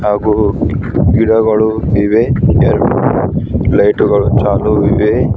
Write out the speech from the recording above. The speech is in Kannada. ಹಾಗು ಗಿಡಗಳು ಇವೆ ಎರಡು ಲೈಟು ಗಳು ಚಾಲು ಇವೆ.